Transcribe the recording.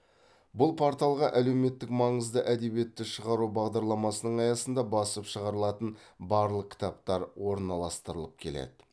бұл порталға әлеуметтік маңызды әдебиетті шығару бағдарламасының аясында басып шығарылатын барлық кітаптар орналастырылып келеді